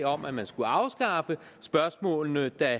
om at man skulle afskaffe spørgsmålene der